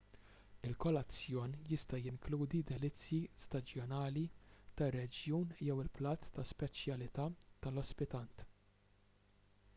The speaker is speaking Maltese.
il-kolazzjon jista' jinkludi delizzji staġjonali tar-reġjun jew il-platt ta' speċjalità tal-ospitant